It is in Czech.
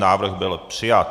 Návrh byl přijat.